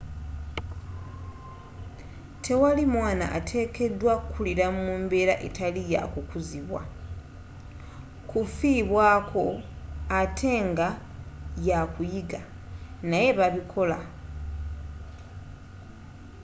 tewali mwaana ateekedwa kukulira mu mbeera etali ya kukuzibwa kufibwaako, ate nga yakuyiga naye bakikola